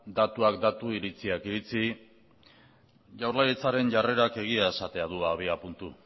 datuak datu iritziak iritzi jaurlaritzaren jarrerak egia esatea du abiapuntu